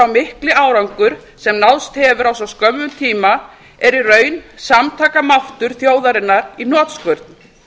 mikli árangur sem náðst hefur á svo skömmum tíma er í raun samtakamáttur þjóðarinnar í hnotskurn